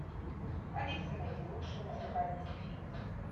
алиса найди лучшие музыкальные фильмы